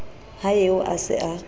ha eo a se a